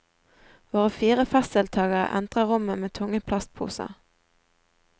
Våre fire festdeltagere entrer rommet med tunge plastposer.